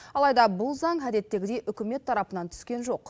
алайда бұл заң әдеттегідей үкімет тарапынан түскен жоқ